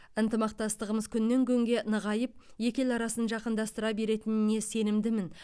ынтымақтастығымыз күннен күнге нығайып екі ел арасын жақындастыра беретініне сенімдімін